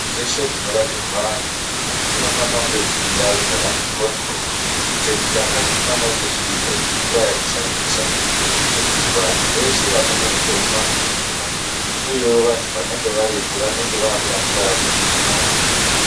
Dzeshe dzinorapirwa antu dzinofana kunge dziri ndau dzakati mhoryo, chekutanga chinofana kunge chiripo imvura yekushandisa ngekuti vantu veshe vanomwe mitombo vanoda mvura uyewo vantu vanenge varipo vanenge vakuda mvura yekumwa yakawanda.